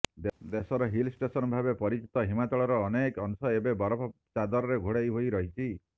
ଦେଶର ହିଲଷ୍ଟେସନ ଭାବେ ପରିଚିତ ହିମାଚଳର ଅନେକ ଅଂଶ ଏବେ ବରଫ ଚାଦରରେ ଘୋଡେଇ ହୋଇ ରହିଛି